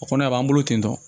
O kɔnɔ a b'an bolo ten tɔ